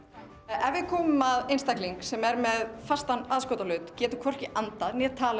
ef við komum að einstaklingi sem er með fastan aðskotahlut getur hvorki andað né talað